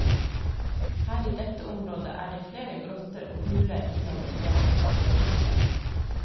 Her i dette området er det flere grotter og huler innover i fjellet.